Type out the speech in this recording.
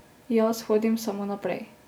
Jaz hodim samo naprej.